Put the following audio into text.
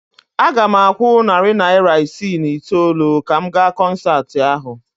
Aga m akwụ narị naira isii na itoolu ka m gaa kọnsaatị ahụ